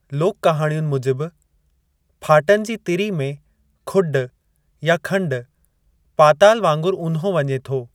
लोक कहाणियुनि मूजिबि, फाटन जी तिरी में खुॾु या खंडु, पाताल वांगुरु ऊन्हो वञे थो।